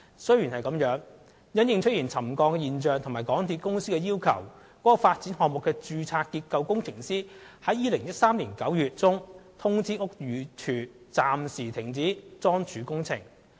雖然如此，因應沉降現象及港鐵公司的要求，該發展項目的註冊結構工程師於2013年9月中通知屋宇署，該地盤暫時停止樁柱工程。